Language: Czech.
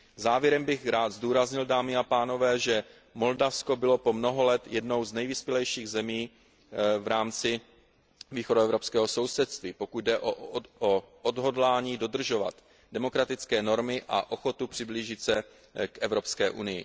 Závěrem bych rád zdůraznil, dámy a pánové, že Moldavsko bylo po mnoho let jednou z nejvyspělejších zemí v rámci východoevropského sousedství, pokud jde o odhodlání dodržovat demokratické normy a o ochotu přiblížit se k EU.